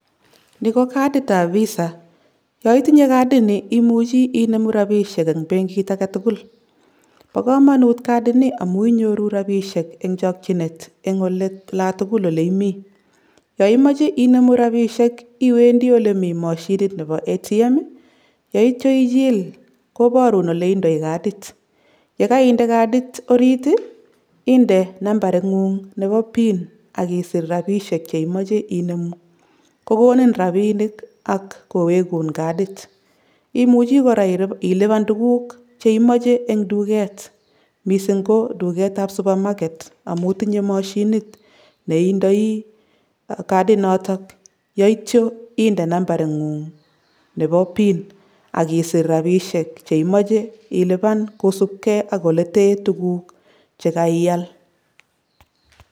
Ni ko katitab visa yo itinye katini imuche icheru rabisiek en benkit agetugul bo komonut katini amun inyoru rabisiek en chokchinet en olatugul ole imi, yo imoche icheru rabisiek iwendi ole mi mashinit nebo ATM yeitio ichil koborun oleindoi katit yekeinde katit orit ii inde nambaringun nebo pin ak isir rabisiek cheimoche inemu kokonin rabinik ak kowekun katit , imuche koraa iliban tuguk cheimoche en tuget misink ko tugetab supermarket amun tinye mashinit nebo katinoton yeitio inde nambaringung nebo pin ak isir rabisiek cheimoche iliban kosibgee ak oleten tuguk chakaial.